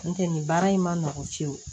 N tɛ nin baara in man nɔgɔn fiyewu